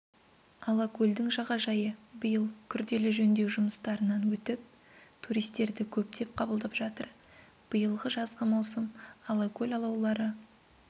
алакөлдің жағажайы биыл күрделі жөндеу жұмыстарынан өтіп туристерді көптеп қабылдап жатыр биылғы жазғы маусым алакөл алаулары